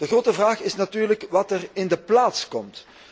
De grote vraag is natuurlijk wat er in de plaats komt.